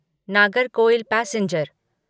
Nagercoil passenger